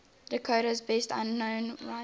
dakota's best known writers